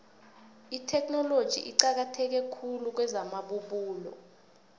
itheknoloji iqakatheke khulu kwezamabubulo